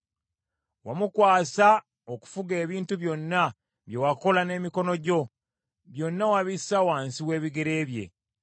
Wamukwasa okufuga ebintu byonna bye wakola n’emikono gyo: byonna wabissa wansi w’ebigere bye,